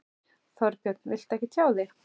Þorbjörn: Viltu ekki tjá þig?